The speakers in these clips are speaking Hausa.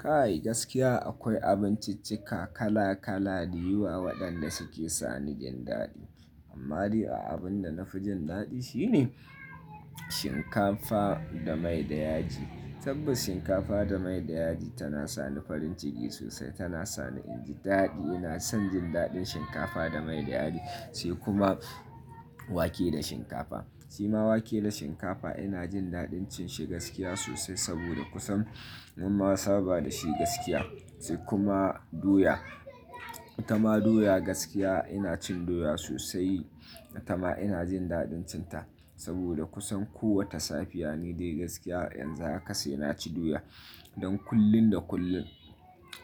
Kai gaskiya akwai abinciccika kala kala da yawa waɗanda suke sani jin daɗi. Amma dai abin da na fi jin daɗi shine shinkafa da mai da yaji. Tabas shinkafa da mai da yaji tana sani farin ciki sosai, tana sani in ji daɗi. Ina son jin daɗin shinkafa da mai da yaji. Sai kuma wake da shinkafa. Sai ma wake da shinkafa ina jin daɗin cin shi gaskiya sosai saboda kusan mun ma saba da shi gaskiya. Sai kuma doya. Tama doya gaskiya ina cin doya sosai. Tama ina jin daɗin cin ta saboda kusan kowace safiya ni dai gaskiya yanzu haka sai na ci doya. Don kullin da kullin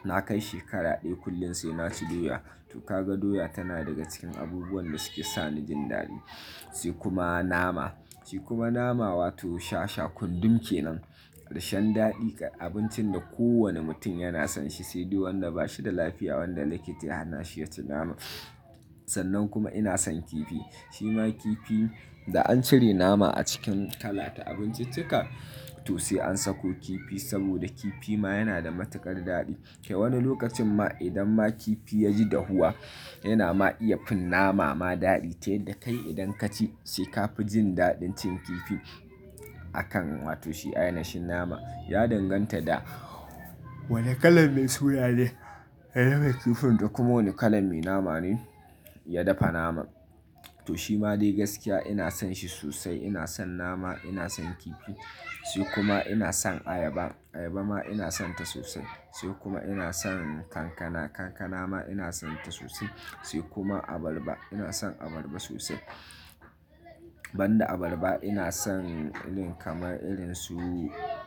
na kai shekara ɗaya kullin sai na ci doya. To kaga doya tana daga cikin abubuwan da suke sa ni jin daɗi. Sai kuma nama. Sai kuma nama wato shasha kunɗum kenan. Dashen daɗi ga abincin da kowane mutum yana son shi sai dai wanda ba shi da lafiya wanda likita ya hana shi ya ci nama. Sannan kuma ina son kifi. Sai ma kifi da an cire nama a cikin kala ta abinciccika to sai an sako kifi saboda kifi ma yana da matuƙar daɗi. Wani lokacin ma idan ma kifi ya ji dahuwa yana ma iya fin nama ma daɗi. Tai da kai idan ka ci sai ka fi jin daɗin cin kifi akan wato shi a ya nashin nama. Ya danganta da wane kalan mai soya ne ya zama kifin da kuma wane kalan mai nama ne ya dafa naman. To shi ma dai gaskiya ina son shi sosai. Ina son nama, ina son kifi. Sai kuma ina son ayaba. Ayaba ma ina sonta sosai. Sai kuma ina son kankana. Kankana ma ina sonta sosai. Sai kuma abarba. Ina son abarba sosai. Banda abarba ina son irin kamar irin su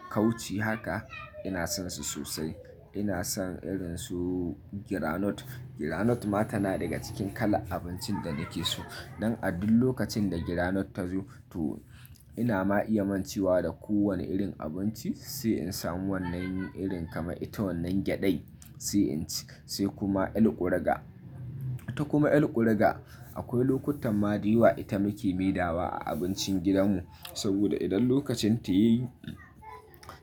kauci haka ina sonsu sosai. Ina son irin su granot. Granot ma tana daga cikin kala abincin da nake so. Nan a duk lokacin da granot ta zo to ina ma iya mancewa da kowane irin abinci sai in samu wannan irin kamar ita wannan gyaɗai sai in ci. Sai kuma alkurga. Ta kuma alkurga akwai lokutan ma daiwa ita muke maidawa a abincin gidanmu saboda idan lokacin ta yayi,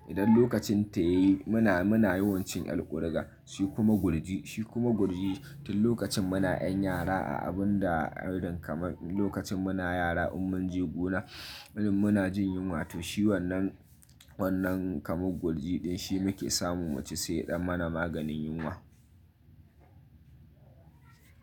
idan lokacin ta yayi muna, muna yawan cin alkurga. Sai kuma gurji. Shi kuma gurji tun lokacin muna an yara a abun da irin kamar lokacin muna yara in mun je gona irin muna jin yunwa to shi wannan, wannan kamar gurji ɗin shi muke samun mu ci sai ɗan mana maganin yunwa.